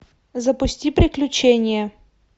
запусти приключение